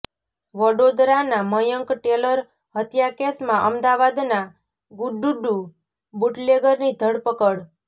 વડોદરાના મયંક ટેલર હત્યા કેસમાં અમદાવાદના ગુડ્ડુ બુટલેગરની ધરપકડ